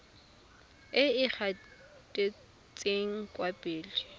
e e gatetseng kwa pele